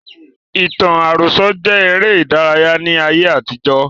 Ìtàn àròsọ jẹ eré ìdárayá ni ayé ìgbàkan.